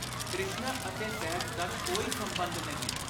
ਤ੍ਰਿਸ਼ਨਾ ਅਤੇ ਸਹਿਜ ਦਾ ਕੋਈ ਸੰਬੰਧ ਨਹੀਂ।